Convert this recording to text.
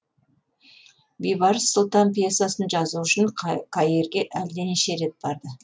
бейбарыс сұлтан пьесасын жазуы үшін каирге әлденеше рет барды